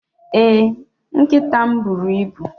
Ee, nkịta m buru ibu.